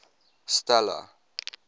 stella